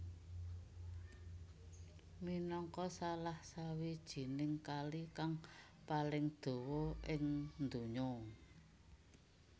Minangka salah sijining kali kang paling dawa ing donya